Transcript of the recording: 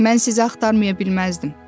Mən sizi axtarmaya bilməzdim.